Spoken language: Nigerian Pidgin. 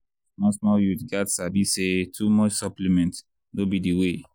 small small youths gats sabi say too much supplement no be the way.